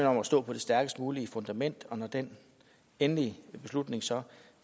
om at stå på det stærkest mulige fundament og når den endelige beslutning så